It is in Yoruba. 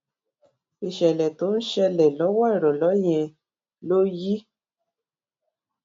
ìṣèlè tó ṣẹlè lówó ìròlé yẹn ló yí